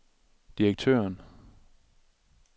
direktøren